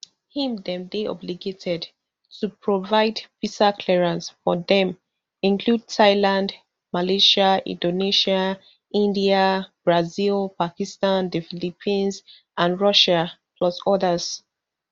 im dem dey obligated to provide visa clearance for dem include thailand malaysia inAcceptedsia india brazil pakistan the philippines and russia plus odas